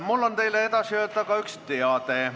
Mul on teile edasi öelda ka üks teade.